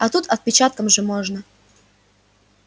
а тут отпечатком же можно